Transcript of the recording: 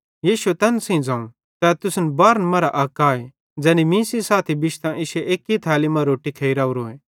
यीशुए तैन सेइं ज़ोवं तै तुसन बारहन मरां अक आए ज़ै मीं सेइं साथी बिश्तां इश्शी एक्की थैली मां रोट्टी खेइ राओरोए